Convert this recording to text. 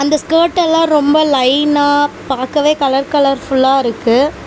இந்த ஸ்கர்ட் எல்லா ரொம்ப லைன்னா பாக்கவே கலர் கலர்ஃபுல்லா இருக்கு.